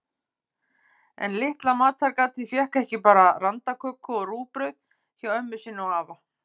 En litla matargatið fékk ekki bara randaköku og rúgbrauð hjá ömmu sinni og afa.